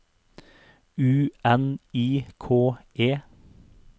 U N I K E